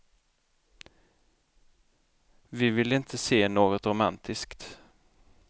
Vi ville inte se något romantiskt.